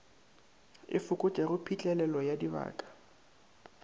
e fokotšago phitlhelelo ya dibaka